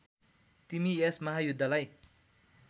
तिमी यस महायुद्धलाई